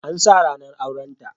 An sa ranar aurenta